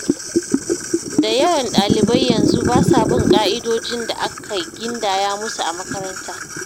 Da yawan ɗalibai yanzu basa bin ƙa'idojin da aka gindaya musu a makaranta